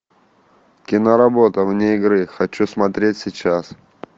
киноработа вне игры хочу смотреть сейчас